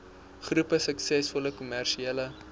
groepie suksesvolle kommersiële